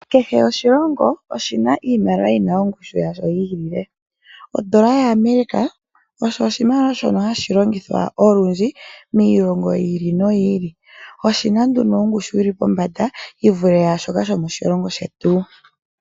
Kehe oshilongo oshina iimaliwa yina ongushu yasho yi ilile. Ondola yaAmerica osho oshimaliwa shono hashi longithwa olundji miilongo yi ili noyi ili. Oshina ongushu yili pombanda yi vule yaashoka shomoshilongo shetu.